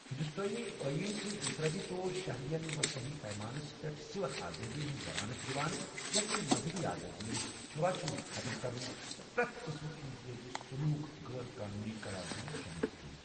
ہندوستٲنۍ ٲییٖن چھُ انفرٲدی طور شہرٮ۪ن وصیح پیمانس پٮ۪ٹھ سِول آزٲدی ہٕنٛز ضمانت دِوان، یتھ منٛز مزہبٔی آزٲدی، چھوأ چھوٗت ختم كرُن، تہٕ پرٮ۪تھ قٕسمُک امتیٲزی سلوٗک غٲر قونوٗنی قرار دیُن شٲمِل چھ ۔